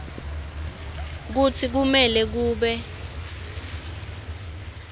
kutsi kumele kube